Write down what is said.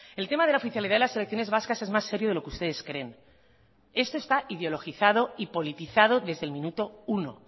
el tema de la oficialidad de las selecciones vascas es más serio de lo que ustedes creen esto está ideologizado y politizado desde el minuto uno